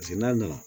Paseke n'a nana